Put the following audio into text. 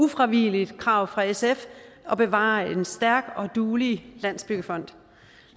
ufravigeligt krav fra sf at bevare en stærk og duelig landsbyggefond